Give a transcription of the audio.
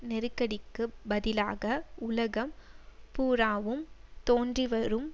நெருக்கடிக்கு பதிலாக உலகம் பூராவும் தோன்றிவரும்